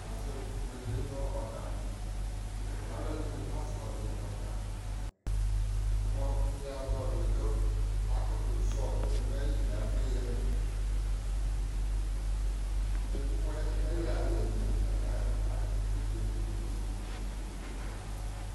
azɔ tʋ ɛbʋɛlɛ nʋ ɔga, alʋ ɛdini kazɔli ɔga, mʋ mia zɔli kʋ kʋ akʋtʋ zɔli nʋ ɛma ɛli mʋ avlɛ yami, nɛbʋ mʋ ɛyi ayɛ di li lakʋ ɛkɛ bʋɛlɛ tʋ ɛbʋɛlɛ